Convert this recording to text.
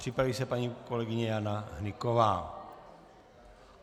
Připraví se paní kolegyně Jana Hnyková.